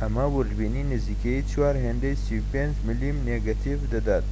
ئەمە ووردبینی نزیکەی چوار هێندەی 35 ملم نێگەتیڤ دەدات